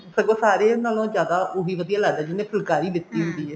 ਸਗੋਂ ਸਾਰਿਆ ਨਾਲੋ ਜਿਆਦਾ ਉਹੀ ਵਧੀਆ ਲੱਗਦਾ ਜਿਹਨੇ ਫੁਲਕਾਰੀ ਲੀਤੀ ਹੁੰਦੀ ਹੈ